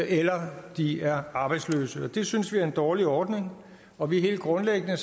eller de er arbejdsløse det synes vi er en dårlig ordning og vi er helt grundlæggende